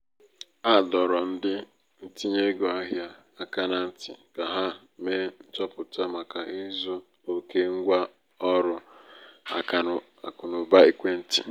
a dọrọ ndị ntinye ego ahịa aka na ntị ka ha mee nchọpụta màkà ịzụ oke ngwa ọrụ akụnaụba ekwentị.